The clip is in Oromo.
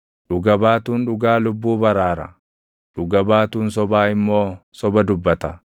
Dhuga baatuun dhugaa lubbuu baraara; dhuga baatuun sobaa immoo soba dubbata.